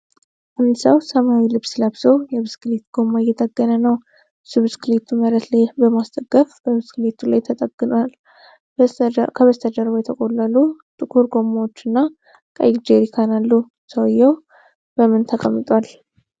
አንድ ሰው ሰማያዊ ልብስ ለብሶ የብስክሌት ጎማ እየጠገነ ነው። እሱ ብስክሌቱን መሬት ላይ በማስደገፍ በብስክሌቱ ላይ ተጠግኖአል። ከበስተጀርባ የተቆለሉ ጥቁር ጎማዎችና ቀይ ጀሪካን አለ። ሰውየው በምን ተቀምጧል?